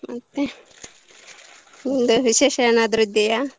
ಮತ್ತೆ ವಿಶೇಷ ಏನಾದ್ರು ಇದೆಯಾ.